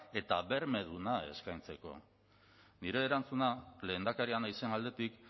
eta bermeduna eskaintzeko nire erantzuna lehendakaria naizen aldetik